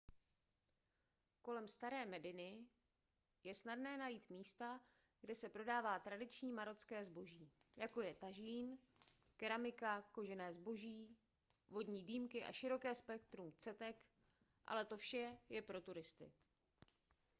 kolem staré mediny je snadné najít místa kde se prodává tradiční marocké zboží jako je tažín keramika kožené zboží vodní dýmky a široké spektrum cetek ale to vše je pro turisty